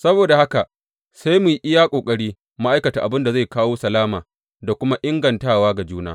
Saboda haka sai mu yi iya ƙoƙari mu aikata abin da zai kawo salama da kuma ingantawa ga juna.